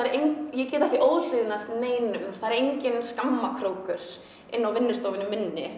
ég get ekki óhlýðnast neinum það er enginn skammarkrókur inni á vinnustofunni minni